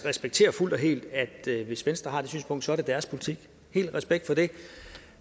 respekterer fuldt og helt at det hvis venstre har det synspunkt så er deres politik det respekterer